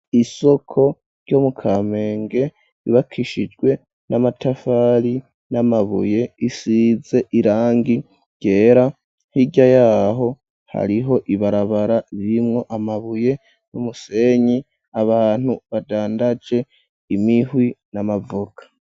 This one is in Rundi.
Isoko ryo mu Kamenge, yubakishijwe n'amatafari, n'amabuye, isize irangi ryera; hirya y'aho, hariho ibarabara, rimwo amabuye n'umusenyi, abantu badandaje imihwi n'amavoka.